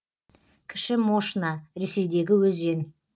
кіші мошна ресейдегі өзен